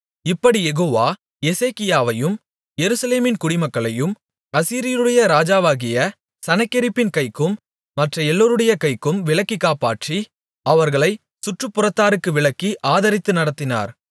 இப்படிக் யெகோவா எசேக்கியாவையும் எருசலேமின் குடிமக்களையும் அசீரியருடைய ராஜாவாகிய சனகெரிபின் கைக்கும் மற்ற எல்லோருடைய கைக்கும் விலக்கிக் காப்பாற்றி அவர்களைச் சுற்றுப்புறத்தாருக்கு விலக்கி ஆதரித்து நடத்தினார்